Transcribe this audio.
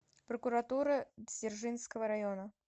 прокуратура дзержинского района